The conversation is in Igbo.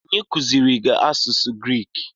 Onye kuziiri gị asụsụ Griik?